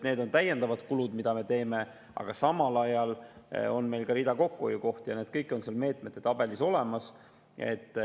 Need on täiendavad kulud, mida me teeme, aga samal ajal on meil ka rida kokkuhoiukohti ja need kõik on seal meetmete tabelis olemas.